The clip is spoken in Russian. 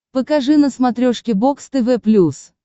покажи на смотрешке бокс тв плюс